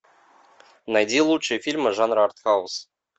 найди лучшие фильмы жанра арт хаус